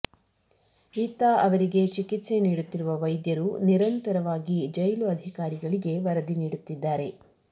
ಇತ್ತ ಅವರಿಗೆ ಚಿಕಿತ್ಸೆ ನೀಡುತ್ತಿರುವ ವೈದ್ಯರು ನಿರಂತರವಅಗಿ ಜೈಲು ಅಧಿಕಾರಿಗಳಿಗೆ ವರದಿ ನೀಡುತ್ತಿದ್ದಾರೆ